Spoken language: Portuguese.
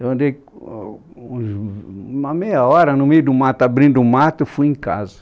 Eu andei uns, uma meia hora no meio do mato, abrindo o mato, fui em casa.